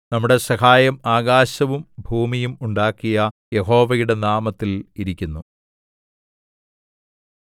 നമ്മളുടെ സഹായം ആകാശവും ഭൂമിയും ഉണ്ടാക്കിയ യഹോവയുടെ നാമത്തിൽ ഇരിക്കുന്നു